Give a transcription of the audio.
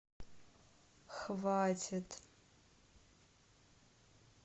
хватит